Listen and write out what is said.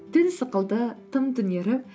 түн сықылды тым түнеріп